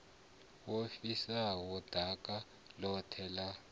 wo fhisaho ḓaka ḽoṱhe ḽa